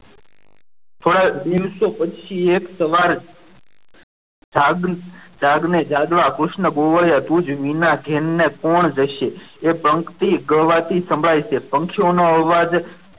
થોડાક દિવસો પછી એક સવાર જાગી જાગને જાકવા કૃષ્ણ ગોવાળિયા તુજ વિના ને કોણ જશે એ પંક્તિ ગવાથી સંભળાય છે પંખીઓના અવાજ